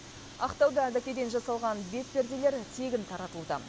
ақтауда дәкеден жасалған бетперделер тегін таратылуда